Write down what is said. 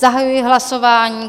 Zahajuji hlasování.